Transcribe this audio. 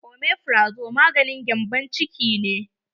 Omefrazo maganin gembon ciki ne.